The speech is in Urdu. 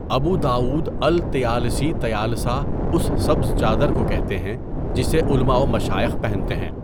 ابوداؤد الطیالسی طیالسہ اس سبز چادر کو کہتے ہیں جسے علما و مشائخ پہنتے ہیں.